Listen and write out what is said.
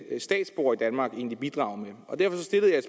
statsborgere i danmark egentlig bidrage med derfor stillede